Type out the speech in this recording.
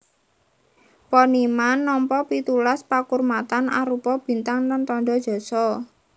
Poniman nampa pitulas pakurmatan arupa bintang lan tandha jasa